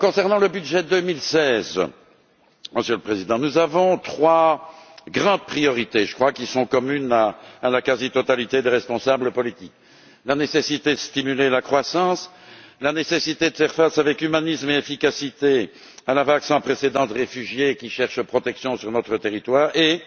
Concernant le budget 2016, Monsieur le Président du Conseil, nous avons trois grandes priorités qui sont, je crois, communes à la quasi totalité des responsables politiques la nécessité de stimuler la croissance, la nécessité de faire face avec humanisme et efficacité à la vague sans précédent de réfugiés qui cherchent la protection sur notre territoire et,